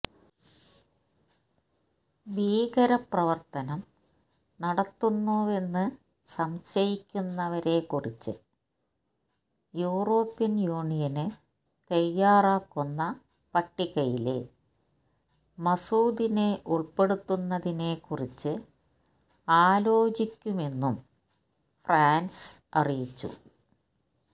ഭീകരപ്രവര്ത്തനം നടത്തുന്നുവെന്ന് സംശയിക്കുന്നവരെക്കുറിച്ച് European Union തയാറാക്കുന്ന പട്ടികയില് മസൂദിനെ ഉള്പ്പെടുത്തുന്നതിനെക്കുറിച്ച് ആലോചിക്കുമെന്നും ഫ്രാന്സ് അറിയിച്ചു